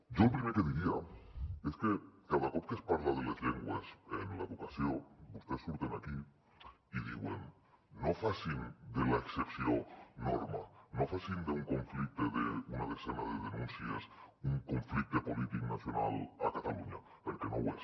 jo el primer que diria és que cada cop que es parla de les llengües en l’educació vostès surten aquí i diuen no facin de l’excepció norma no facin d’un conflicte d’una desena de denúncies un conflicte polític nacional a catalunya perquè no ho és